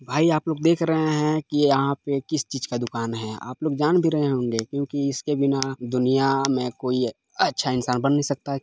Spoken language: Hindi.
भाई आप लोग देख रहे हैकी यहाँ पे किस चीज का दूकान है आप लोग जान भी रहे होंगे क्यूकी इसके बिना दुनिया में कोई अच्छा इंसान बन नहीं सकता।